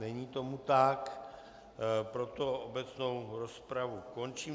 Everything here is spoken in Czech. Není tomu tak, proto obecnou rozpravu končím.